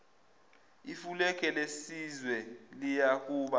ifulege lesizwe liyakuba